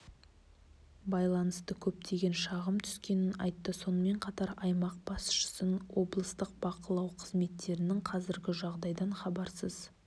байланысты көптеген шағым түскенін айтты сонымен қатар аймақ басшысын облыстық бақылау қызметтерінің қазіргі жағдайдан хабарсызсыз